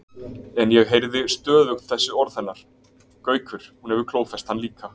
En ég heyrði stöðugt þessi orð hennar: Gaukur, hún hefur klófest hann líka